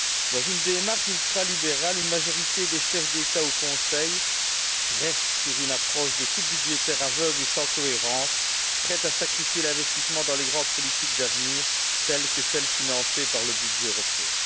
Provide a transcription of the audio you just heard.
Dans une démarche ultralibérale, une majorité des chefs d'État au Conseil s'en tient à une approche de coupes budgétaires aveugles et sans cohérence, prête à sacrifier l'investissement dans les grandes politiques d'avenir telles que celles financées par le budget européen.